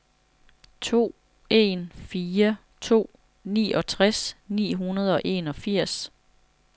to en fire to niogtres ni hundrede og enogfirs